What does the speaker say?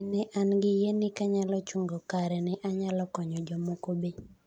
"Nene an gi yiee ni kanyalo chungo kare ne anyalo konyo jomoko be."